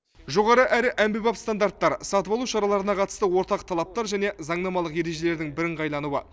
жоғары әрі әмбебап стандаттар сатып алу шараларына қатысты ортақ талаптар және заңнамалық ережелердің бірыңғайлануы